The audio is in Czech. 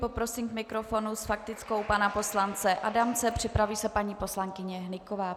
Poprosím k mikrofonu s faktickou pana poslance Adamce, připraví se paní poslankyně Hnyková.